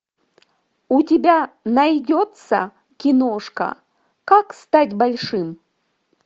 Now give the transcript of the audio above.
у тебя найдется киношка как стать большим